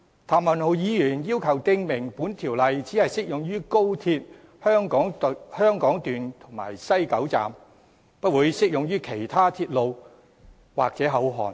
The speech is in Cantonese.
譚文豪議員要求訂明本條例只適用高鐵香港段及西九龍站，不會適用於其他鐵路或口岸。